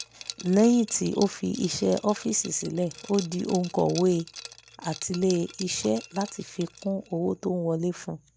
lẹ́yìn tí ó fi iṣẹ́ ọ́fíìsì sílẹ̀ ó di òǹkọ̀wé atilé-iṣẹ́ láti fi kún owó tó ń wọlé fún un